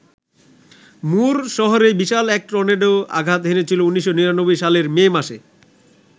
মুর শহরে বিশাল এক টর্নেডো আঘাত হেনেছিল ১৯৯৯ সালের মে মাসে।